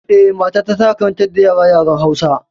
Eh, matata tana karantar da yara yaren Hausa.